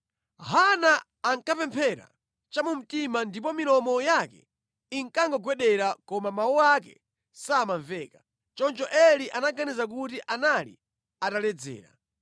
Hana ankapemphera chamumtima ndipo milomo yake inkangogwedera koma mawu ake samamveka. Choncho Eli anaganiza kuti anali ataledzera.